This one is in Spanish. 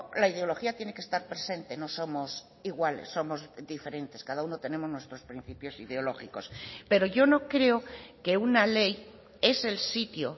la ideología tiene que estar presente no somos iguales somos diferentes cada uno tenemos nuestros principios ideológicos pero yo no creo que una ley es el sitio